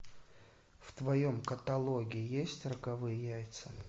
в твоем каталоге есть роковые яйца